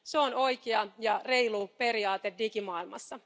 Se on oikea ja reilu periaate digimaailmassa.